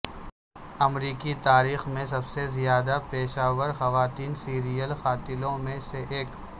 امریکی تاریخ میں سب سے زیادہ پیشہ ور خواتین سیریل قاتلوں میں سے ایک